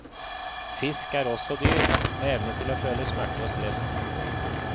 Fisk er også dyr, med evne til å føle smerte og stress.